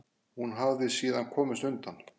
Hún hafi síðan komist undan.